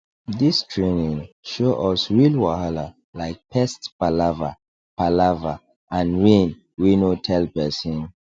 this training show us real wahala like pest palava palava and rain wey no tell person